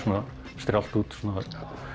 strjált út það var